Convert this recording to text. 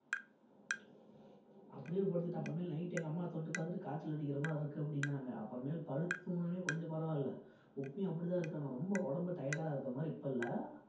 அப்படியே படுத்துக்கிட்டு அப்புறமேலு night எங்க அம்மா தொட்டு பார்த்துட்டு காய்ச்சல் அடிக்கிற மாதிரி இருக்கு அப்படின்னாங்க அப்புறமேல் படுத்து தூங்கன உடனே கொஞ்சம் பரவாயில்லை இப்பயும் அப்படிதான் இருக்கு ஆனா ரொம்ப உடம்பு tired ஆ இருக்ககிறமாதிரி இப்ப இல்ல